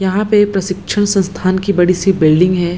यहाँ पे प्रशिक्षण संस्थान की बड़ी-सी बिल्डिंग है।